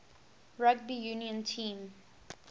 rugby union team